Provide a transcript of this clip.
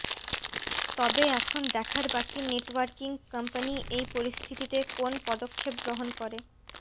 তবে এখন দেখার বাকি নেটওয়ার্কিং কোম্পানি এই পরিস্থিতিতে কোন পদক্ষেপ গ্রহন করে